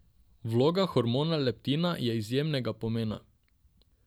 Vloga hormona leptina je izjemnega pomena.